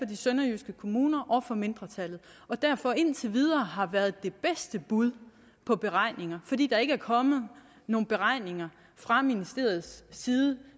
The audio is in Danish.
de sønderjyske kommuner og fra mindretallet og derfor indtil videre har været det bedste bud på beregninger fordi der ikke er kommet nogen beregninger fra ministeriets side